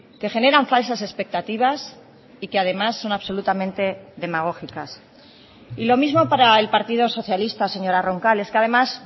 que generan falsas expectativas y que además son absolutamente demagógicas y lo mismo para el partido socialista señora roncal es que además